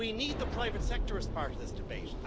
We need the private sector as part of this debate.